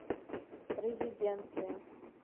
резиденция